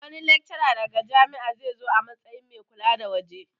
Wani laccara daga wata jami'a zai zo a matsayin mai kula na waje